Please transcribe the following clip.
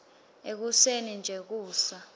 ekuseni nje kusa